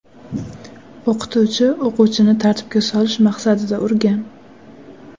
O‘qituvchi o‘quvchini tartibga solish maqsadida urgan.